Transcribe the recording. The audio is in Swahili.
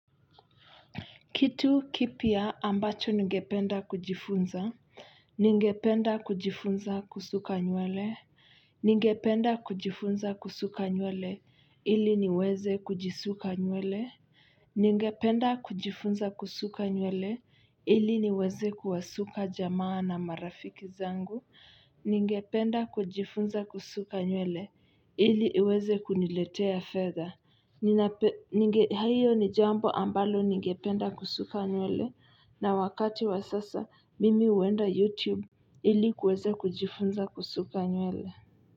Kitu kipya ambacho ningependa kujifunza. Ningependa kujifunza kusuka nywele. Ngependa kujifunza kusuka nyuele. Ili niweze kujisuka nywele. Ngependa kujifunza kusuka nyuele. Ili niweze kuwasuka jamaa na marafiki zangu. Ngependa kujifunza kusuka nyuele. Ili iweze kuniletea fedha. Hiyo ni jambo ambalo ningependa kusuka newsletter. Na wakati wa sasa mimi huenda Youtube ili kuweza kujifunza kusuka nywele.